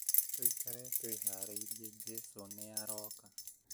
Tũikare twĩharĩirie jesũ nĩ aroka